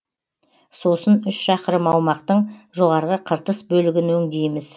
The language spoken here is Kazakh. сосын үш шақырым аумақтың жоғарғы қыртыс бөлігін өңдейміз